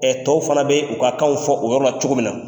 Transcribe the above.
tɔw fana bɛ u ka kanw fɔ o yɔrɔ la cogo min na.